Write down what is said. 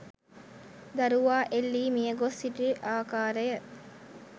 දරුවා එල්ලී මියගොස් සිටි ආකාරය